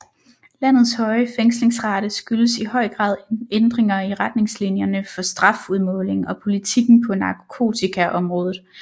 Landets høje fængslingsrate skyldes i høj grad ændringer i retningslinjerne for strafudmåling og politikken på narkotikaområdet